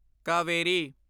Kaveri